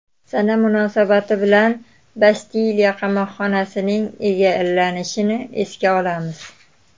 Sana munosabati bilan Bastiliya qamoqxonasining egallanishini esga olamiz.